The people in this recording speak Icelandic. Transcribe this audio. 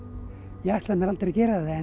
ég ætlaði mér aldrei að gera það en